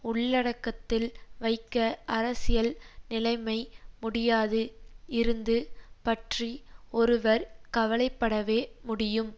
உள்ளடக்கத்தில் வைக்க அரசியல் நிலைமை முடியாது இருந்து பற்றி ஒருவர் கவலைப்படவே முடியும்